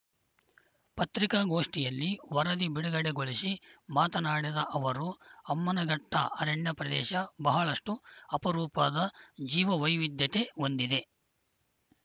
ಪತ್ರಿಕಾಗೋಷ್ಠಿಯಲ್ಲಿ ವರದಿ ಬಿಡುಗಡೆಗೊಳಿಸಿ ಮಾತನಾಡಿದ ಅವರು ಅಮ್ಮನಘಟ್ಟಅರಣ್ಯ ಪ್ರದೇಶ ಬಹಳಷ್ಟುಅಪರೂಪದ ಜೀವ ವೈವಿಧ್ಯತೆ ಹೊಂದಿದೆ